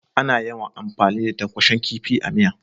Ana yawan amfani da tankwashen kifi a miya.